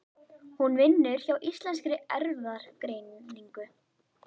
Hún vinnur hjá Íslenskri erfðagreiningu.